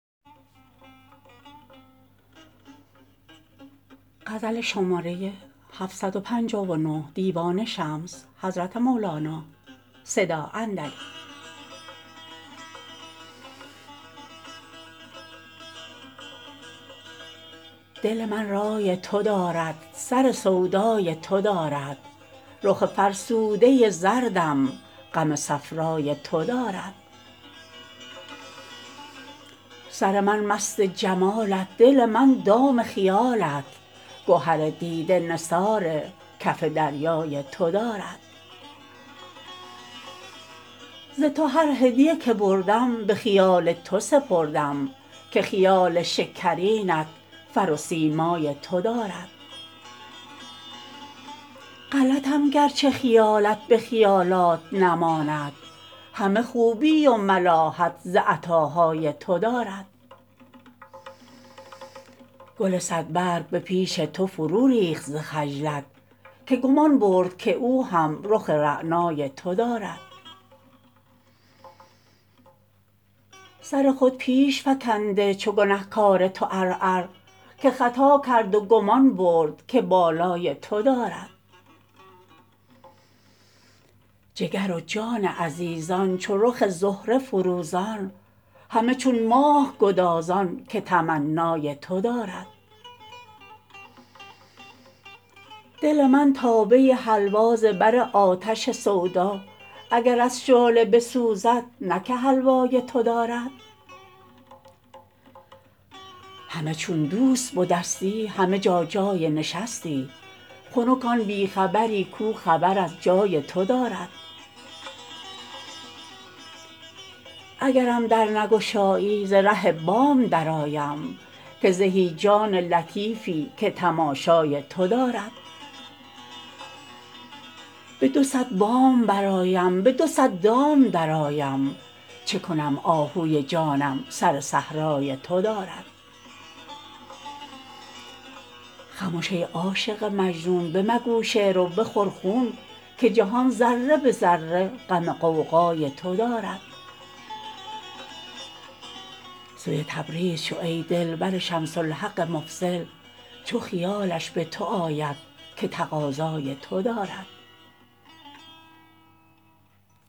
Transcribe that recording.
دل من رای تو دارد سر سودای تو دارد رخ فرسوده زردم غم صفرای تو دارد سر من مست جمالت دل من دام خیالت گهر دیده نثار کف دریای تو دارد ز تو هر هدیه که بردم به خیال تو سپردم که خیال شکرینت فر و سیمای تو دارد غلطم گرچه خیالت به خیالات نماند همه خوبی و ملاحت ز عطاهای تو دارد گل صدبرگ به پیش تو فروریخت ز خجلت که گمان برد که او هم رخ رعنای تو دارد سر خود پیش فکنده چو گنه کار تو عرعر که خطا کرد و گمان برد که بالای تو دارد جگر و جان عزیزان چو رخ زهره فروزان همه چون ماه گدازان که تمنای تو دارد دل من تابه حلوا ز بر آتش سودا اگر از شعله بسوزد نه که حلوای تو دارد هله چون دوست بدستی همه جا جای نشستی خنک آن بی خبری کو خبر از جای تو دارد اگرم در نگشایی ز ره بام درآیم که زهی جان لطیفی که تماشای تو دارد به دو صد بام برآیم به دو صد دام درآیم چه کنم آهوی جانم سر صحرای تو دارد خمش ای عاشق مجنون بمگو شعر و بخور خون که جهان ذره به ذره غم غوغای تو دارد سوی تبریز شو ای دل بر شمس الحق مفضل چو خیالش به تو آید که تقاضای تو دارد